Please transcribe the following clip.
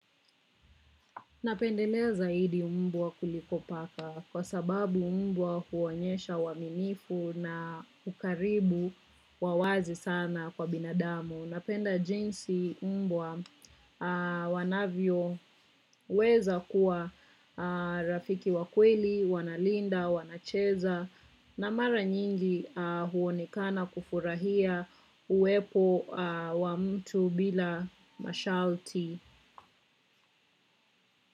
Napendelea zaidi mbwa kuliko paka kwa sababu mbwa huonyesha uaminifu na ukaribu wa wazi sana kwa binadamu. Napenda jinsi mbwa anavyoweza kuwa rafiki wa kweli, wanalinda, wanacheza na mara nyingi huonekana kufurahia uwepo wa mtu bila mashalti.